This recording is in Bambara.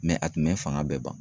a tun bɛ fanga bɛɛ ban.